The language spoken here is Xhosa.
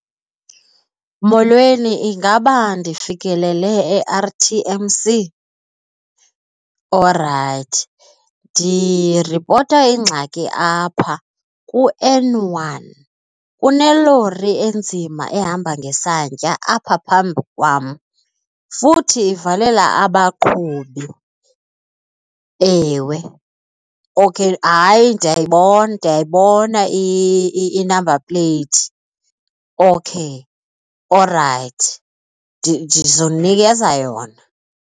Molweni, ingaba ndifikelele e-R_T_M_C? Orayithi, ndiripota ingxaki apha ku-N one kunelori enzima ehamba ngesantya apha phambi kwam futhi ivalela abaqhubi. Ewe. Okay, hayi ndiyayibona ndiyayibona i-number plate. Okay, orayithi ndizokunikeza yona.